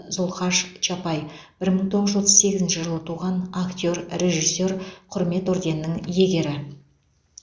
зұлхаш чапай бір мың тоғыз жүз отыз сегізінші жылы туған актер режиссер құрмет орденінің иегері